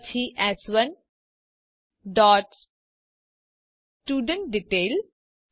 પછી એસ1 dot student detail